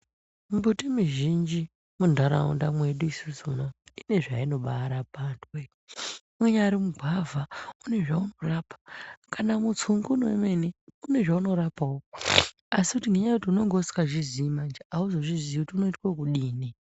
Mumbuti mizhinji muntharaunda mwedu isusu munomu ine zvainobaarapa anthuwe unyari mugwavha une zvaunorapa kana mutsungunu une zvaunorapao asi ngenya yekuti unengeusingazvi zii manje auzozvizii kuti unoitwe wokudini.